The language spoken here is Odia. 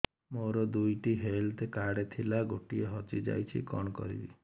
ମୋର ଦୁଇଟି ହେଲ୍ଥ କାର୍ଡ ଥିଲା ଗୋଟିଏ ହଜି ଯାଇଛି କଣ କରିବି